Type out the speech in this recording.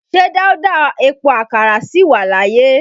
Ṣé Dauda Epo Àkàrà sì wà láyé?